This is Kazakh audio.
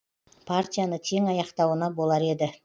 партияны тең аяқтауына болар еді